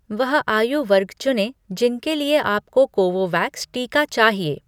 वह आयु वर्ग चुनें जिनके लिए आपको कोवोवैक्स टीका चाहिए.